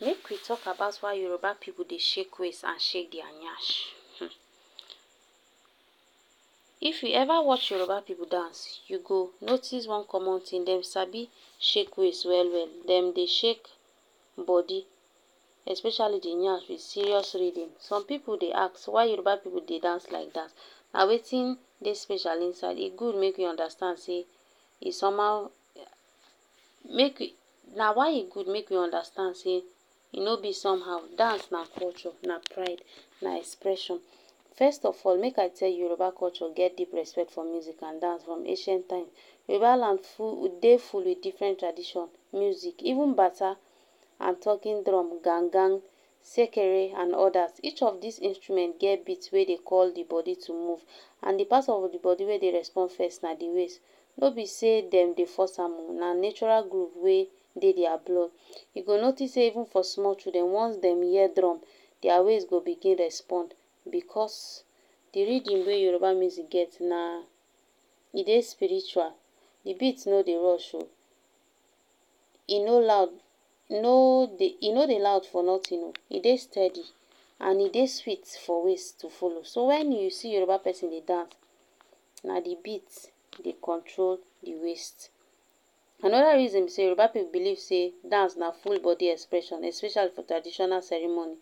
Make we talk about why Yoruba pipu dey shake waist and shake their nyash, um if u ever watch Yoruba pipu dance you go notice one common thing dem sabi shake waist well well dem dey shake body especially d nyash with serious rhythm, some pipu dey ask why Yoruba pipu dey dance like dat and wetin dey special inside, e good make u understand say, e somehow na why e good make we understand say e no b somehow, dance na culture na pride, na expression, first of all make I tell you Yoruba culture get deep respect for music and dance from ancient time, Yoruba land full dey full with different tradition, music even bata and talking drum, gangan, sekere and odas, each of dis instrument get beat wey dey call d body to move and d pat of d body wey dey respond first na d waist, no b say dem dey force am o na natural grove wey dey their blood, u go notice sey even for small children once dem hear drum their waist go begin respond because d rhythm wey Yoruba music get na, e dey spiritual, d beat no dey rush o, e no loud e no dey e no dey loud for nothing o, e dey steady and e dey sweet for waist to follow so when u see Yoruba persin dey dance na d beat dey control d waist. Anoda reason b say Yoruba pipu believe sey dance na free body expression especially for traditional ceremony,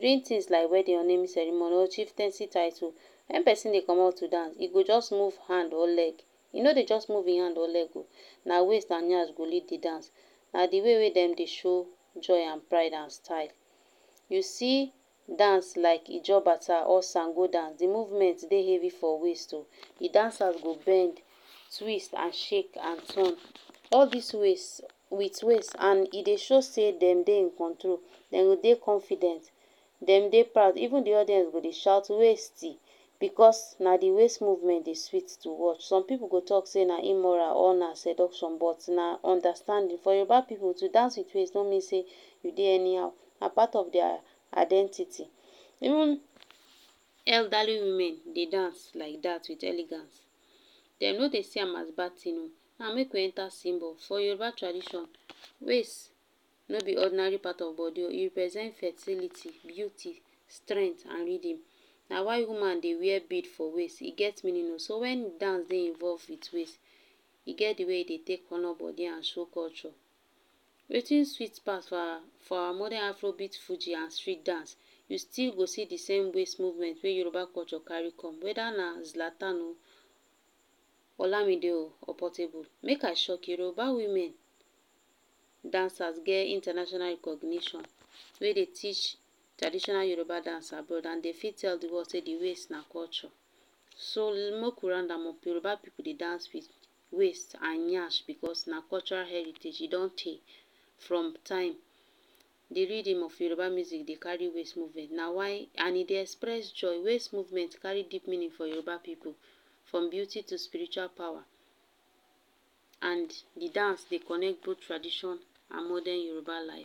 during things like wedding, naming ceremony or chieftancy title wen person dey commot to dance e go just move hand or leg, e no dey just move hin hand and leg oh na waist and nyash go lead d dance, na d way wey dem dey show joy and pride and style. You see dance like ijo bata or sango dance d movement dey heavy for waist oh, d dancer go bend twist and shake and turn all dis waist with waist and e dey show say dem dey in control, dem go dey confident, dem dey proud even d audience go dey shout waist, because na d waist movement dey sweet to watch, some pipu go talk say na immoral or na seduction but na understanding, for Yoruba pipu to dance with waist no mean sey u dey anyhow, na part of their identity, even elderly women dey dance like dat with elegance dem no dey see am as bad thing. Now make we enter symbol, for Yoruba tradition, waist no b ordinary part of body o, e represent fertility, beauty, strength and rhythm na why woman dey wear bead for waist, e get so wen dance dey invoved with waist e get d way wey e dey take honor body show culture. Wetin sweet pass for our modern afro beat and street dance u stil go see d same waist movement wey Yoruba culture carry come whether na Zlatan o, olamide o or portable, make I shock u, Yoruba women dancers get international recognition wey dey teach traditional Yoruba dance abroad and dey fit tell d world sey d waist na culture, so make we round up Yoruba pipu dey dance with waist and nyash because na cultural heritage e don tey, from time d rhythm of Yoruba music dey carry waist movement na why and e dey express joy waist movement carry deep meaning for Yoruba people from beauty to spiritual power and d dance dey connect both tradition and modern Yoruba life.